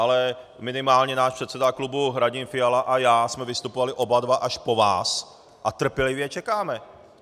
Ale minimálně náš předseda klubu Radim Fiala a já jsme vystupovali oba dva až po vás a trpělivě čekáme.